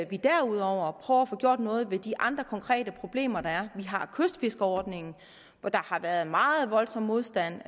vi derudover prøver at få gjort noget ved de andre konkrete problemer der er vi har kystfiskerordningen hvor der har været meget voldsom modstand